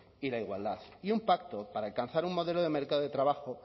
y la igualdad y un pacto para alcanzar un modelo de mercado de trabajo